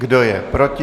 Kdo je proti?